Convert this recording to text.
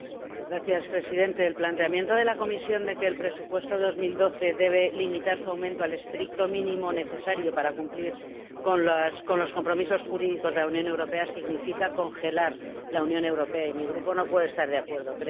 Señor Presidente, el planteamiento de la Comisión de que el presupuesto de 2012 debe limitar su aumento al estricto mínimo necesario para cumplir con los compromisos jurídicos de la Unión Europea significa congelar la Unión Europea, y mi Grupo no puede estar de acuerdo.